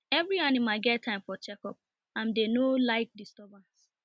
every animal get time for checkup and dem no like disturbance